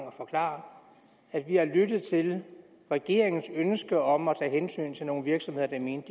at forklare at vi har lyttet til regeringens ønske om at tage hensyn til nogle virksomheder der mente